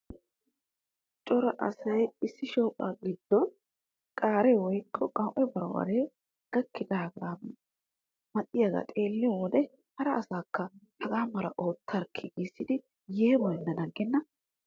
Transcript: Cora asay issi shooqaa giddon qaaree woykko qawu'e barbbaree gakkidaagaa maxiyogaa xeelliyo wode hara asaakka hagaa malaa oottarkkinaa giissidi yeemoyennan aggenna!